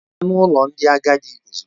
Gaa n'ụlọ ndị agadi ozugbo!